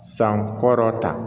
San kɔrɔta